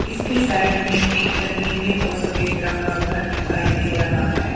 इसके साइड में एक नीले और सफेद रंग का घर दिखाई दे रहा है।